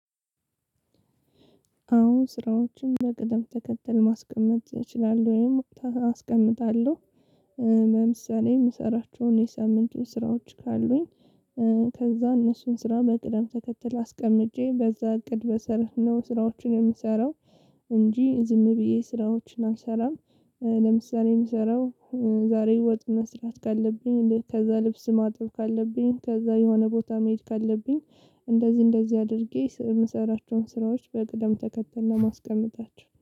አወ ስራዎችን በቅደም ተከተል ማስቀመጥ እችላለሁ ወይም አስቀምጣለሁ። ለምሳሌ የምሰራቸውን የሳምንቱን ስራዎች ካሉኝ። ከዛ እነሱን ስራ በቅደም ተከተል አስቀምጨ በዛ እቅድ መሰረት ነው ስራዎችን የምሰራው። እንጂ ዝም ብዬ ስራዎችን አልሰራም። ለምሳሌ እምሰራው ዛሬ ወጥ መስራት ካለብኝ ከዛ ልብስ ማጠብ ካለብኝ ከዛ የሆነ ቦታ መሄድ ካለብኝ። እንደዚህ እንደዚህ አድርጌ እምሰራቸውን ስራዎች በቅደም ተከተል ነው እማስቀምጣቸው